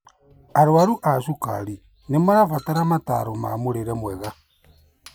Arwaru a cukari nĩmarabatara motaro ma mũrĩre mwega